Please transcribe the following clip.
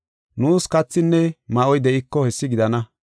Nuus kathinne ma7oy de7iko hessi gidana.